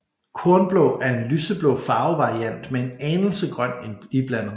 Kornblå er en lyseblå farvevariant med en anelse grøn iblandet